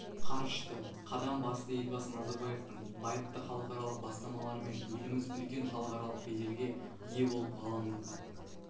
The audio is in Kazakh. қарышты қадам басты елбасы назарбаевтың байыпты халықаралық бастамаларымен еліміз үлкен халықаралық беделге ие болып ғаламдық